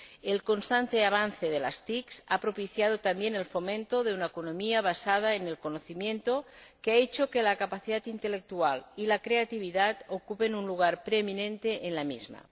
El constante avance de las TIC ha propiciado también el fomento de una economía basada en el conocimiento, que ha hecho que la capacidad intelectual y la creatividad ocupen un lugar preeminente en la misma.